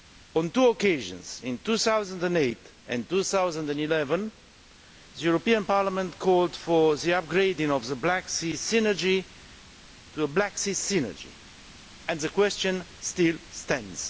On two occasions in 2008 and 2011 the European Parliament called for the upgrading of the Black Sea Synergy to a Black Sea Strategy, and the question still stands.